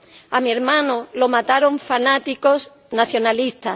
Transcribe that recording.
A mi hermano lo mataron fanáticos nacionalistas